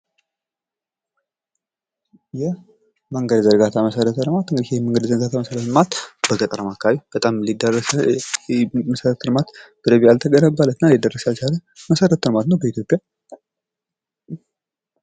መንገድ ዝርጋታ መሰረተ ልማት ይህ የመንገድ ዝርጋታ መሰረተ ልማት በገጠራማ አካባቢ በጣም ሊዳረስ ያልተገነባና ሊዳረስ ያልቻለ መሰረተ ልማት ነው በኢትዮጵያ